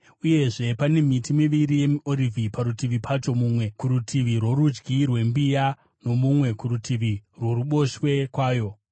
Uyezve pane miti miviri yemiorivhi parutivi pacho, mumwe kurutivi rworudyi rwembiya nomumwe kurutivi rworuboshwe kwayo.”